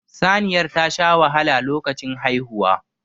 Saniyar tasha wahala lokacin haihuwa